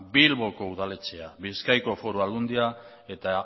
bilbo udaletxea bizkaiko foru aldundia eta